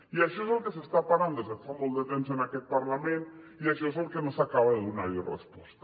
i això és del que s’està parlant des de fa molt de temps en aquest parlament i això és al que no s’acaba de donar resposta